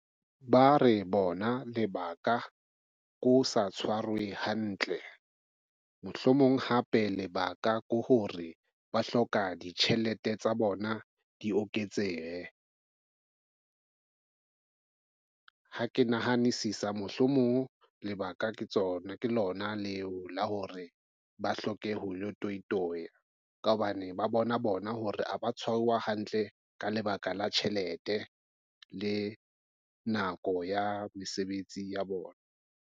Ba re bona lebaka ke ho sa tshwarwe hantle, mohlomong hape lebaka ke hore ba hloka ditjhelete tsa bona di oketsehe. Ha ke nahanisisa mohlomong lebaka ke tsona ke lona leo la hore ba hloke ho lo toitoya ka hobane ba bona bona hore ha ba tshwarwa hantle ka lebaka la tjhelete le nako ya mesebetsi ya bona.